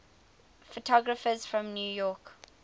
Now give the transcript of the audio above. photographers from new york